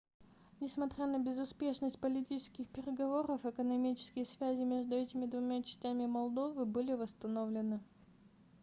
несмотря на безуспешность политических переговоров экономические связи между этими двумя частями молдовы были восстановлены